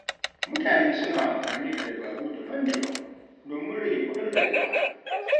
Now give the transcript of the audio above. Mutane suna amfani da dabaru daban-daban, domin rage kuɗin rayuwa.